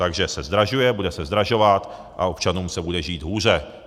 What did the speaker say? Takže se zdražuje, bude se zdražovat a občanům se bude žít hůře.